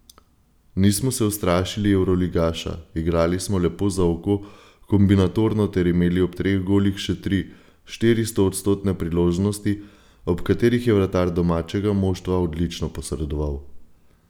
Nismo se ustrašili evroligaša, igrali smo lepo za oko, kombinatorno ter imeli ob treh golih še tri, štiri stoodstotne priložnosti, ob kateri je vratar domačega moštva odlično posredoval.